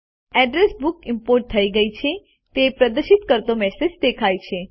address book import થઇ ગયી છે તે પ્રદર્શિત કરતો મેસેજ દેખાય છે